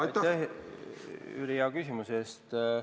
Aitäh, Jüri, hea küsimuse eest!